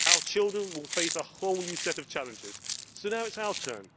Our children will face a whole new set of challenges, so now it is our turn